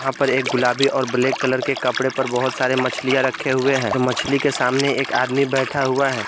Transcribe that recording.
यहां पर एक गुलाबी और ब्लैक कलर के कपड़े पर बहुत सारे मछलीया रखे हुए हैं और मछली के सामने एक आदमी बैठा हुआ है।